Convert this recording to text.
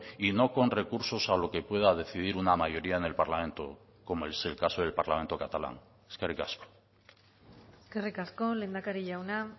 y no con recursos a lo que pueda decidir una mayoría en el parlamento como es el caso del parlamento catalán eskerrik asko eskerrik asko lehendakari jauna